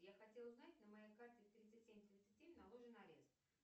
я хотела узнать на моей карте тридцать семь тридцать семь наложен арест